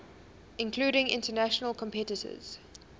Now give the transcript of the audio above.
including international competitors